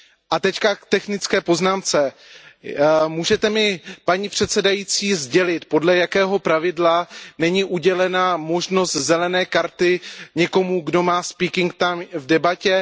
A teď k technické poznámce můžete mi, paní předsedající, sdělit, podle jakého pravidla není udělena možnost modré karty někomu, kdo má řečnický čas v debatě?